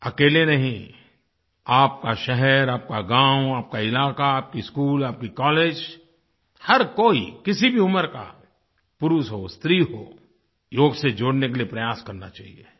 अकेले नहीं आपका शहर आपका गाँव आपका इलाक़ा आपके स्कूल आपके कॉलेज हर कोई किसी भी उम्र का पुरुष हो स्त्री हो योग से जोड़ने के लिए प्रयास करना चाहिये